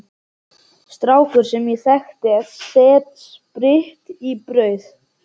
Strákur sem ég þekki setti spritt í brauð.